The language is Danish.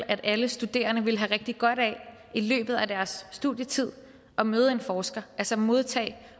at alle studerende ville have rigtig godt af i løbet af deres studietid at møde en forsker altså modtage